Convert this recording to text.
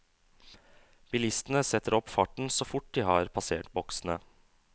Bilistene setter opp farten så fort de har passert boksene.